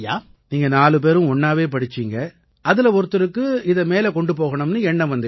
நீங்க நாலு பேரும் ஒண்ணாவே படிச்சீங்க அதில ஒருத்தருக்கு இதை மேல கொண்டு போகணும்னு எண்ணம் வந்திச்சு